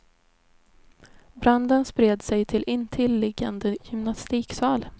Branden spred sig till intilliggande gymnastiksal.